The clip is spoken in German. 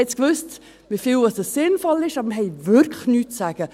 Wir wissen, wie viel sinnvoll ist, aber wir haben wirklich nichts zu sagen.